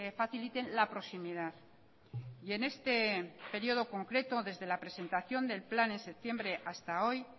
faciliten la proximidad y en este período concreto desde la presentación del plan en septiembre hasta hoy